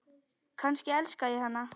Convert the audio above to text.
Kannski elska ég hana?